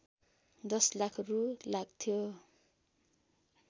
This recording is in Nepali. १० लाख रू लाग्थ्यो